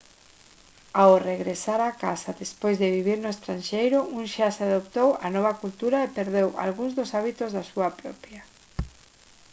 ao regresar a casa despois de vivir no estranxeiro un xa se adaptou á nova cultura e perdeu algúns dos hábitos da súa propia